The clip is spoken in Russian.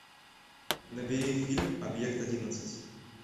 набери фильм объект одиннадцать